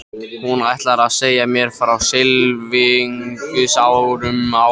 Hann ætlar að segja mér frá silungsánum á Íslandi.